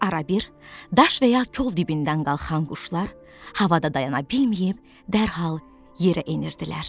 Arabir daş və ya kol dibindən qalxan quşlar havada dayana bilməyib dərhal yerə enirdilər.